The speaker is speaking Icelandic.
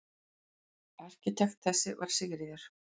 Arkitekt þess var Sigríður